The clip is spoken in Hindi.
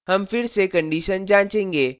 हम फिर से condition जाँचेंगे